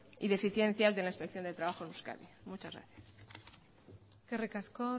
y deficiencias de la inspección de trabajo en euskadi muchas gracias eskerrik asko